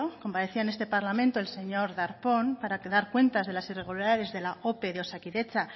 comparecía en este parlamento el señor darpón para dar cuentas de las irregularidades de la ope de osakidetza